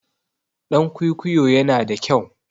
Ɗan kwikwiyo yana da kyau.